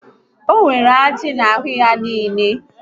O nwere ajị n'ahụ ya niile